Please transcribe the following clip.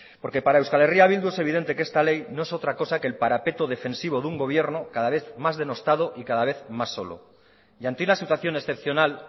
porque para euskal herria bildu es evidente que esta ley no es otra cosa que el parapeto defensivo de un gobierno cada vez más denostado y cada vez más solo y ante una situación excepcional